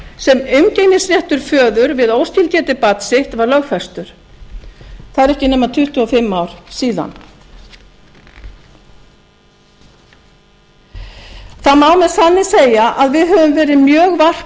þeim lögum sem umgengnisréttur föður við óskilgetið barn sitt var lögfestur það eru ekki nema tuttugu og fimm ár síðan það má með sanni segja að við höfum verið mjög